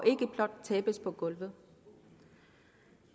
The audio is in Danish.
ikke blot tabes på gulvet